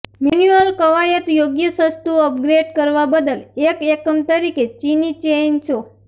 manual કવાયત યોગ્ય સસ્તું અપગ્રેડ કરવા બદલ એક એકમ તરીકે ચિની ચેઇનસો